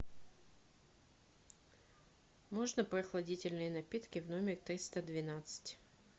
можно прохладительные напитки в номер триста двенадцать